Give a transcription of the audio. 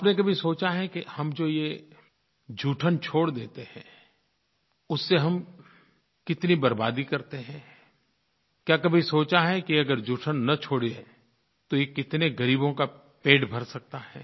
आपने कभी सोचा है कि हम जो ये जूठन छोड़ देते हैं उससे हम कितनी बर्बादी करते हैं क्या कभी सोचा है कि अगर जूठन न छोड़ें तो ये कितने ग़रीबों का पेट भर सकता है